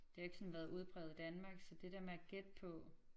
Det har jo ikke sådan været udpræget i Danmark så det der med at gætte på